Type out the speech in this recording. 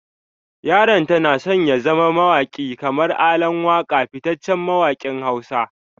Yaranta na son ya zama mawaki kamar ALAN WAKA fitaccen mawakin Hausa.